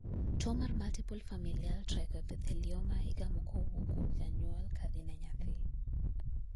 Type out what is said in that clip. tuo mar multiple familial trichoepithelioma igamo kowuok kuom janyuol ka dhi ne nyathi